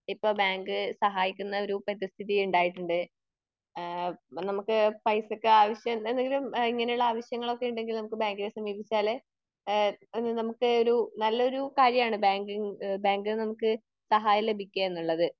ഇപ്പൊ ബാങ്ക് സഹായിക്കുന്ന ഒരു പരിതസ്ഥിതി ഉണ്ടായിട്ടുണ്ട്. ഇഹ് നമുക്ക് പൈസക്ക് ആവശ്യം എന്തെങ്കിലും ഇങ്ങനെ ഉള്ള ആവശ്യങ്ങൾ ഒക്കെ ഉണ്ടെങ്കിൽ നമുക് ബാങ്കിനെ സമീപിപ്പിച്ചാൽ എന്ത് നമുക്ക് ഒരു നല്ലൊരു കാര്യാണ് ബാങ്കിങ് ബാങ്കിൽനിന്ന് നമുക്ക് സഹായം ലഭിക്കുക എന്നുള്ളത്.